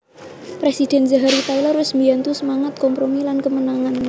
Presiden Zachary Taylor wes mbiyantu semangat kompromi lan kemenangan